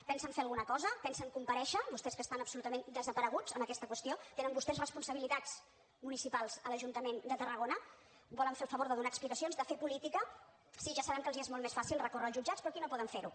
pensen fer alguna cosa pensen comparèixer vostès que estan absolutament desapareguts en aquesta qüestió tenen vostès responsabilitats municipals a l’ajuntament de tarragona volen fer el favor de donar explicacions de fer política sí ja sabem que els és molt més fàcil recórrer als jutjats però aquí no poden fer ho